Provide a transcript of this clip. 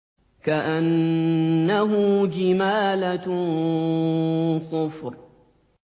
كَأَنَّهُ جِمَالَتٌ صُفْرٌ